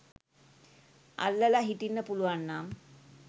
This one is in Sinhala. අල්ලලා හිටින්න පුළුවන් නම්